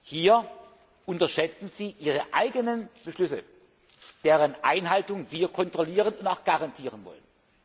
Hier unterschätzen Sie Ihre eigenen Beschlüsse, deren Einhaltung wir kontrollieren und auch garantieren